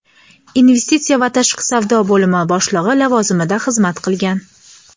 Investitsiya va tashqi savdo bo‘limi boshlig‘i lavozimida xizmat qilgan.